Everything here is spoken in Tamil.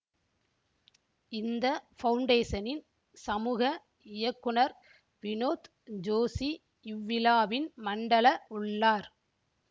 இந்த பவுண்டேசனின் சமூக இயக்குனர் வினோத் ஜோஷி இவ்விழாவின் மண்டல உள்ளார்